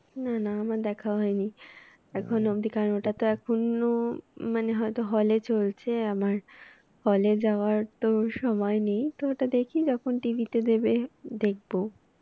না না আমার দেখা হয়নি। এখন অব্দি কারণ ওটা তো এখনো মানে হয় তো hall এ চলছে আমার hall এ যাওয়ার তো সময় নেই। তো ওটা দেখি যখন TV তে দেবে দেখবো।